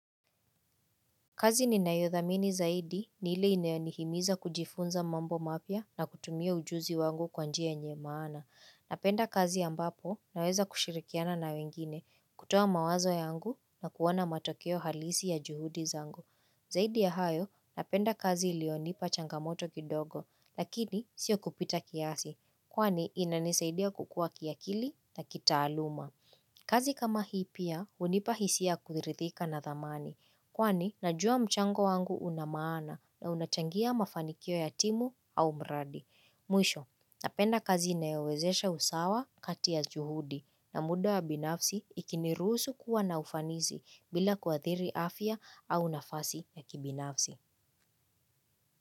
Kazi ninayodhamini zaidi ni ile inanihimiza kujifunza mambo mapya na kutumia ujuzi wangu kwa njia yenye maana. Napenda kazi ambapo naweza kushirikiana na wengine kutoa mawazo yangu na kuona matokeo halisi ya juhudi zangu. Zaidi ya hayo napenda kazi ilionipa changamoto kidogo lakini sio kupita kiasi kwani inanisaidia kukua kiakili na kitaaluma. Kazi kama hii pia, hunipa hisia ya kuridhika na thamani. Kwani, najua mchango wangu una maana na unachangia mafanikio ya timu au mradi. Mwisho, napenda kazi inayowezesha usawa kati ya juhudi na muda ya binafsi ikinirusu kuwa na ufanisi bila kuathiri afya au nafasi ya kibinafsi.